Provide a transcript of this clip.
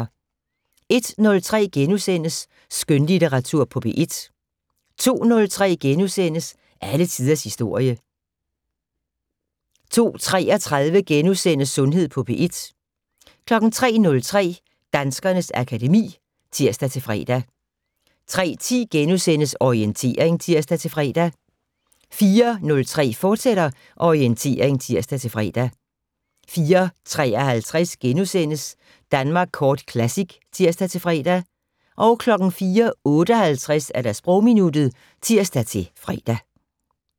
01:03: Skønlitteratur på P1 * 02:03: Alle tiders historie * 02:33: Sundhed på P1 * 03:03: Danskernes akademi *(tir-fre) 03:10: Orientering *(tir-fre) 04:03: Orientering, fortsat (tir-fre) 04:53: Danmark Kort Classic *(tir-fre) 04:58: Sprogminuttet (tir-fre)